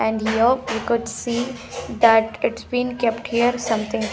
and here we could see that its been kept here something.